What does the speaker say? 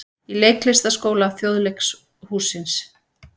Í Leiklistarskóla Þjóðleikhússins.